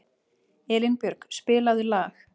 Elínbjörg, spilaðu lag.